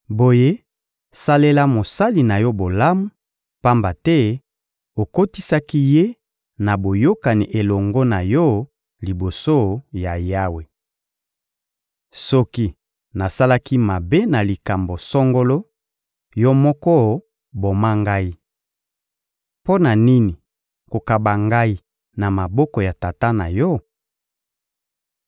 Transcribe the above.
Boye, salela mosali na yo bolamu, pamba te okotisaki ye na boyokani elongo na yo liboso ya Yawe. Soki nasalaki mabe na likambo songolo, yo moko boma ngai! Mpo na nini kokaba ngai na maboko ya tata na yo?